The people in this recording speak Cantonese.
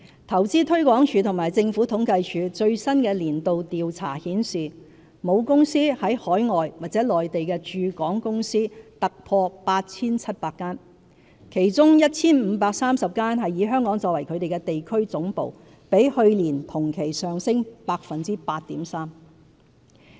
投資推廣署和政府統計處最新的年度調查顯示，母公司在海外或內地的駐港公司突破 8,700 間，其中 1,530 間以香港作為地區總部，比去年同期上升 8.3%。